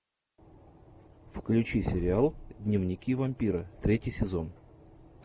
включи сериал дневники вампира третий сезон